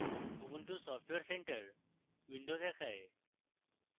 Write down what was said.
ubuntu software centre window দেখায়